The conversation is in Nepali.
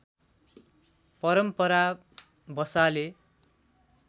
परम्परा बसाले